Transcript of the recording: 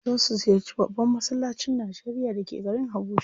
Za su ziyarci babban massalacin Najeria da ke garin Habuja.